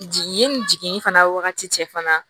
Jigin i ni jigin fana wagati cɛ fana